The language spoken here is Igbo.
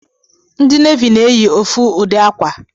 Ndị navi na-eyi ofu ụdị akwa